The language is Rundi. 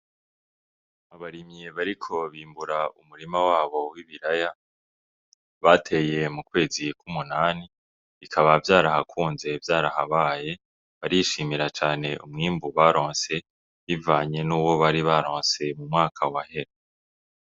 Abarimyi bariko bimbura umurima wabo w'ibiraya bateye mu kwezi ku munani bikaba vyarahakunze vyarahabaye, barishimira cane umwimbu baronse bivanye n'uwo bari baronse mu mwaka wahera.